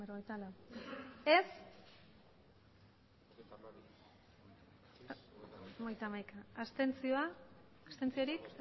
aurkako botoak